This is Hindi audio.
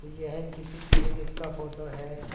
यह किसी क्लीनिक का फोटो है।